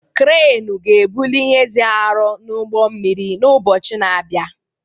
Kreenị ga-ebuli ihe dị arọ n'ụgbọ mmiri n'ụbọchị na-abịa.